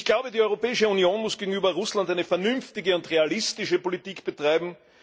Ich glaube, die Europäische Union muss gegenüber Russland eine vernünftige und realistische Politik betreiben.